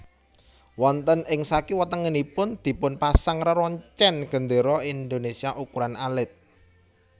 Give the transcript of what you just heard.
Wonten ing sakiwa tengenipun dipun pasang reroncen gendera Indonesia ukuran alit